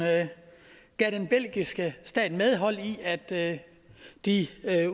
gav den belgiske stat medhold i at de